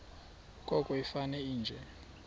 koko ifane nje